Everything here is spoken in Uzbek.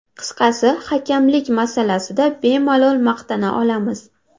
Qisqasi, hakamlik masalasida bemalol maqtana olamiz.